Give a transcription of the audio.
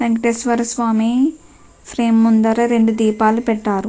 Venkateswaraswamy frame ముందర రెండు దీపాలు పెట్టారు.